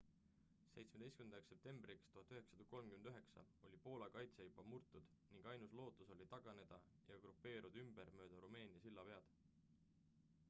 17 septembriks 1939 oli poola kaitse juba murtud ning ainus lootus oli taganeda ja grupeeruda ümber mööda rumeenia sillapead